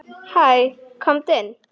Hæ, komdu inn.